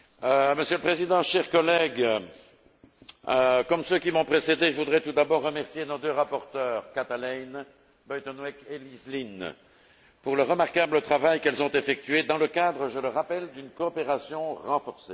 Monsieur le Président, chers collègues, comme ceux qui m'ont précédé, je voudrais tout d'abord remercier nos deux rapporteures, Kathalijne Buitenweg et Elizabeth Lynne, pour le remarquable travail qu'elles ont effectué dans le cadre je le rappelle d'une coopération renforcée.